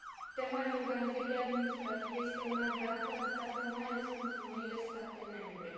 Tema reorganizării administrative este una de actualitate mai ales pentru noile state membre.